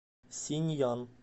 синьян